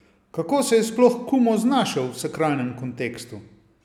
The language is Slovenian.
Kako se je sploh Kumo znašel v sakralnem kontekstu?